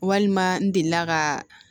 Walima n delila ka